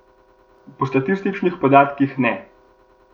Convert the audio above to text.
Po statističnih podatkih ne.